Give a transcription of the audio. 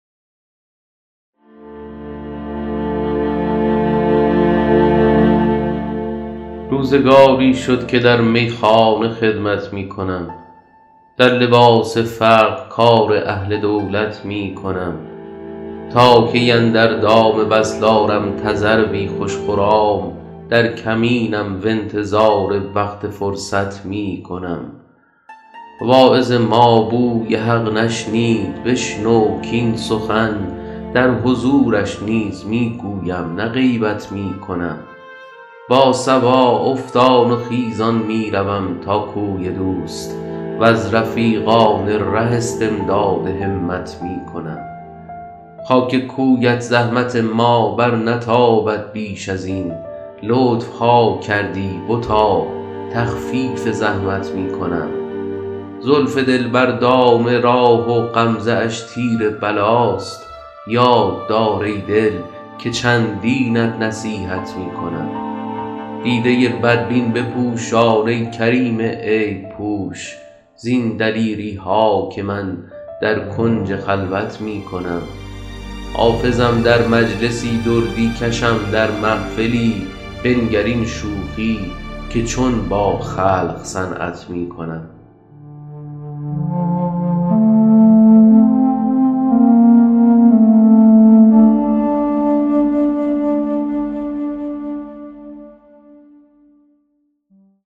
روزگاری شد که در میخانه خدمت می کنم در لباس فقر کار اهل دولت می کنم تا کی اندر دام وصل آرم تذروی خوش خرام در کمینم و انتظار وقت فرصت می کنم واعظ ما بوی حق نشنید بشنو کاین سخن در حضورش نیز می گویم نه غیبت می کنم با صبا افتان و خیزان می روم تا کوی دوست و از رفیقان ره استمداد همت می کنم خاک کویت زحمت ما برنتابد بیش از این لطف ها کردی بتا تخفیف زحمت می کنم زلف دلبر دام راه و غمزه اش تیر بلاست یاد دار ای دل که چندینت نصیحت می کنم دیده بدبین بپوشان ای کریم عیب پوش زین دلیری ها که من در کنج خلوت می کنم حافظم در مجلسی دردی کشم در محفلی بنگر این شوخی که چون با خلق صنعت می کنم